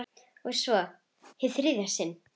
Og svo- hið þriðja sinn.